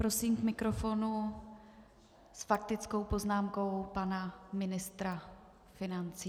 Prosím k mikrofonu s faktickou poznámkou pana ministra financí.